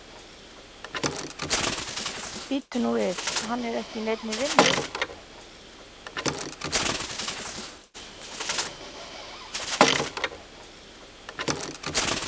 Bíddu nú við, hann er ekki í neinni vinnu?